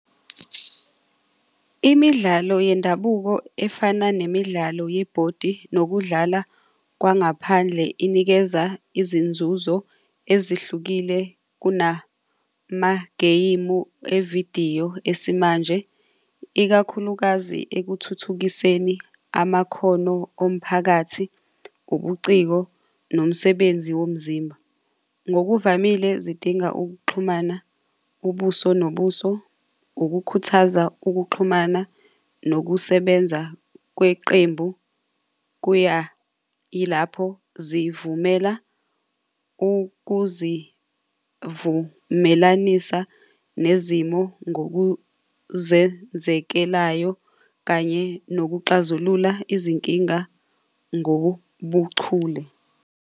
Imidlalo yendabuko efana nemidlalo yebhodi nekudlala kwangaphandle, inikeza izinzuzo ezihlukile kunamagemu avidiyo esimanje, ikakhulukazi ekuthuthukiseni amakhono omphakathi, ubuciko, nomsebenzi womzimba. Ngokuvamile zidinga ukuxhumana, ubuso nobuso, ukukhuthaza ukuxhumana nokusebenza kweqembu kuya ilapho zivumela ukuzivumelanisa nezimo ngokuzenzekelayo kanye nokuxazulula izinkinga ngobuchule.